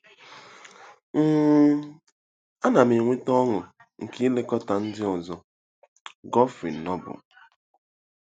um “Ana m enweta ọṅụ nke ilekọta ndị ọzọ.”—GEOFFREY NOBLE